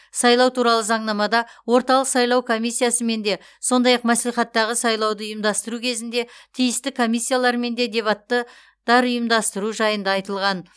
сайлау туралы заңнамада орталық сайлау комиссиясымен де сондай ақ мәслихаттағы сайлауды ұйымдастыру кезінде тиісті комиссиялармен де дебатты тар ұйымдастыру жайында айтылған